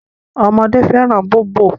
Ọmọdé fẹ́ràn bóbò.